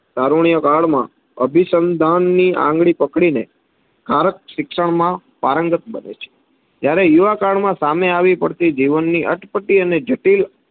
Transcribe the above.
તારુણ્ય કાળમાં અભિસંધાનની આંગડી પકડી ને બાળક શિક્ષણ માં પારંગત બને છે, ત્યારે યુવા કાળમાં જીવનમાં આવી પડતી અટપટી અને જટિલ,